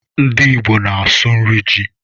Ndị Igbo na-asụ nri ji